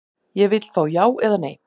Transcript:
Ég vill fá já eða nei.